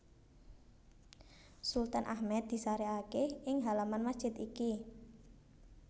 Sultan Ahmed disarèkaké ing halaman masjid iki